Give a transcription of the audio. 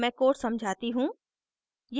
अब मैं code समझाती हूँ